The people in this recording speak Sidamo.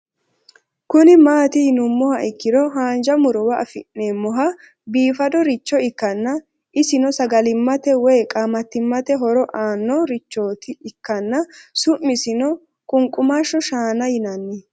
Kuni mati yinumoha ikiro hanja murowa afine'mona bifadoricho ikana isino sagalimate woyi qaamatimate horo aano richoti ikana su'misino qunqumash shaana yinanni